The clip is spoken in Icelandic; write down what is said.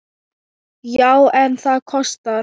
Já, en það kostar!